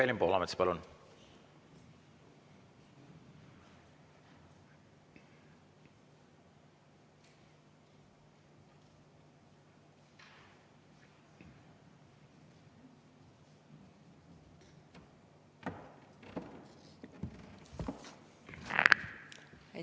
Evelin Poolamets, palun!